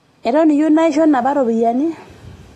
Eton iyieu naisho napa ropiyiani?